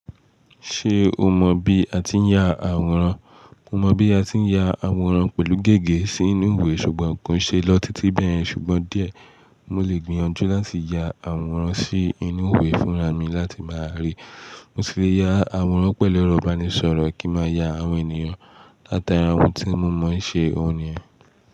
Ṣé o mọ bí a ti ń ya àwòrán? Mo mọ bí a ti ń ya àwòrán pẹ̀lú gègé sínú ìwé ṣùgbọ́n kò ṣe lọ títí bẹ́yẹ̀n. Ṣùgbọ́n díẹ̀, mo lè gbìyànjú láti ya àwòrán sí inú ìwé fúnra mi láti máa rí. Mo sì le ya àwòrán pẹ̀lú ẹ̀rọ ìbánisọ̀rọ̀ kí n máa ya àwọn ènìyàn, látara ohun tí mo mọ ṣe òun niyen.